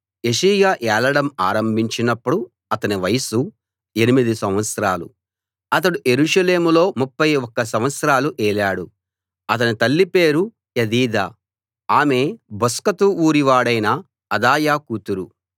యోషీయా ఏలడం ఆరంభించినప్పుడు అతని వయసు ఎనిమిది సంవత్సరాలు అతడు యెరూషలేములో 31 సంవత్సరాలు ఏలాడు అతని తల్లి పేరు యెదీదా ఆమె బొస్కతు ఊరివాడైన అదాయా కూతురు